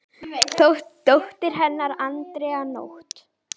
Dóttir hennar er Andrea Nótt.